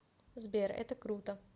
сбер это круто